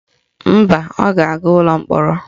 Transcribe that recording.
Mba, ọ ga-aga ụlọ mkpọrọ